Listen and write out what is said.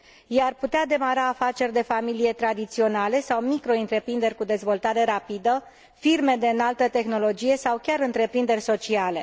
Ei ar putea demara afaceri de familie tradiționale sau microîntreprinderi cu dezvoltare rapidă, firme de înaltă tehnologie sau chiar întreprinderi sociale.